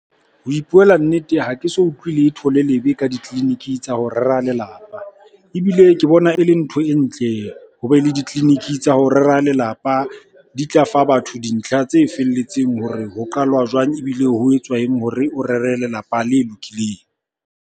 Ho ipuela nnete ha ke so utlwe le thole lebe ka ditleliniki tsa ho rera lelapa. Ebile ke bona e le ntho e ntle ho be le ditleliniki tsa ho rera lelapa, di tla fa batho dintlha tse felletseng hore ho qalwa jwang? Ebile ho etswa eng hore o rere lelapa le lokileng?